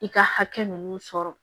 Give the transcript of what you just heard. I ka hakɛ nunnu sɔrɔ